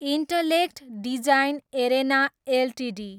intellect design arena Ltd